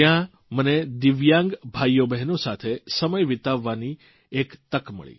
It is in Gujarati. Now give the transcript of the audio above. ત્યાં મને દિવ્યાંગ ભાઇઓબહેનો સાથે સમય વિતાવવાની તક મળી